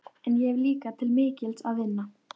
En ég hef líka til mikils að vinna.